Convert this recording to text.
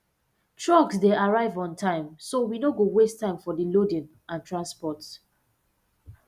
trucks dey arrive on time so we no go waste time for di loading and transport